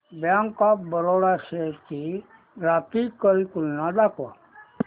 bank of Baroda shares ची graphical तुलना दाखव